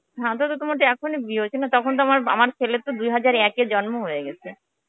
হ্যাঁ, তো তো তাহলে তো তোমার এখনই বিয়ে হয়েছে না. তখন তো আমার আমার ছেলের দুই হাজার একে জন্ম হয়ে গেছে.